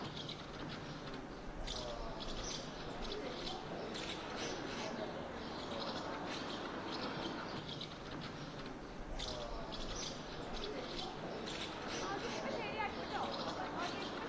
okay ഇപ്പൊ ശരിയാക്കൂട്ടോ okay ഇപ്പൊ